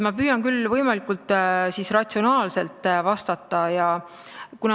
Ma püüan küll võimalikult ratsionaalselt vastata.